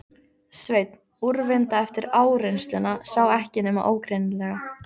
Sveinn, úrvinda eftir áreynsluna, sá ekki nema ógreinilega.